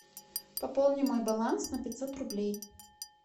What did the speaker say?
пополни мой баланс на пятьсот рублей